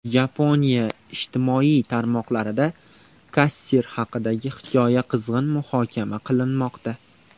Yaponiya ijtimoiy tarmoqlarida kassir haqidagi hikoya qizg‘in muhokama qilinmoqda.